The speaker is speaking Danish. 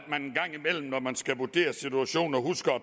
er man skal vurdere situationer husker at